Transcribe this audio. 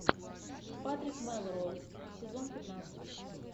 патрик мэлроуз сезон пятнадцать